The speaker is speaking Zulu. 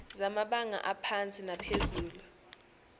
zamabanga aphansi naphezulu